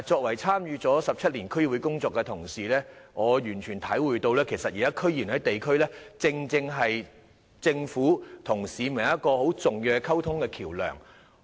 我參與區議會工作17年，我完全體會到現時區議員在地區上，是政府與市民之間很重要的溝通橋樑。